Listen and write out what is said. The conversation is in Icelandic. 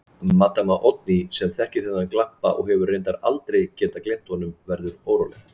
Maddama Oddný, sem þekkir þennan glampa og hefur reyndar aldrei getað gleymt honum, verður óróleg.